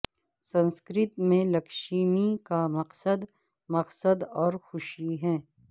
سنسکرت میں لکشمی کا مقصد مقصد اور خوشی ہے